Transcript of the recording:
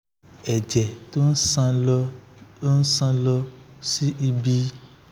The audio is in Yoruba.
ẹ̀jẹ̀ tó ń san lọ ń san lọ sí